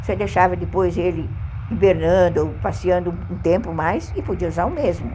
Você deixava depois ele invernando ou passeando um tempo mais e podia usar o mesmo.